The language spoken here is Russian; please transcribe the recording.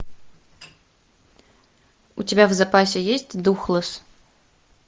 у тебя в запасе есть духлесс